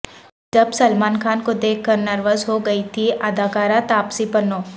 جب سلمان خان کو دیکھ کر نروس ہوگئی تھیں اداکارہ تاپسی پنو